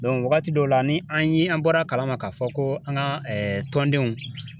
wagati dɔw la ni an ye an bɔra a kalama ka fɔ ko an ka tɔndenw